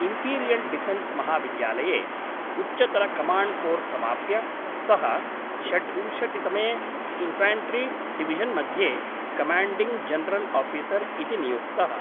Imperial defence महाविद्यालये उच्चतरकमाण्ड् course समाप्य, सः षड्विंशतितमे इन्फ्याण्ट्री डिविशन्मध्ये कमाण्डिङ्ग् जनरल् आफिसर् इति नियुक्तः।